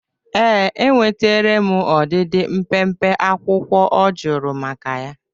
Ee, enwetere m ọdịdị mpempe akwụkwọ ọ jụrụ maka ya.